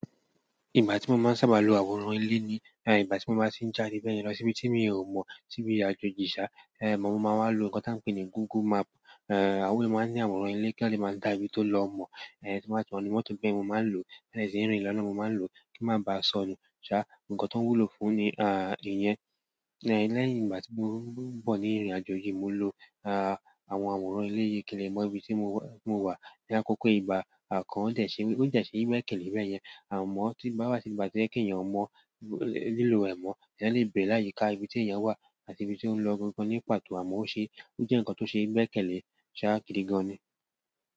Ìgbà tí mo máa ń sábà lo àwòrán ilé ni, ìgbà tí mo bá ṣì ń jáde bẹ́ẹ̀ yẹn lọ síbi tí mi ò mọ̀, síbi ìrìn ajeji, mo máa ń wá lo ǹkan tí a ń pè ní Google Map, àwòn to máa ń ní àwòrán ìle, kí a lè máa dá ibi tó lọ mọ̀, tí mo bá ti wa nu mọ́tò bẹ́ẹ̀ mo máa ń lo, ti n ba de n rìn lọ́nà mo máa ń lo kí n má ba sọnù. Ṣá, ǹkan tó wúlò fún ní à ìyẹn. E, lẹ́yìn ìgbà tí mo n bo ní ìrìnàjò yìí mo lo à àwọn àwòrán ilé yìí kí lè mo ibi tí mo wà. Ni àkókò ìgbà à kan ó dẹ̀ ṣe, ó dẹ̀ ṣe gbẹ́kẹ̀lé bẹ́ẹ̀ yẹn, à mọ́ tí bá wá sí ìgbà tí ẹ èèyàn o mọ̀ lílo ẹ̀ mọ́, ẹ yan lè bẹ̀rẹ̀ láyìí ka ibi tí èèyàn wà àti ibi tí ó ń lọ gan gan ní pàtó à mo ṣe, ó jẹ́ ǹkan tó ṣe gbẹ́kẹ̀lé, ṣá gidi gan ni.